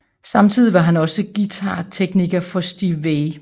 Samtidig var han også guitartekniker for Steve Vai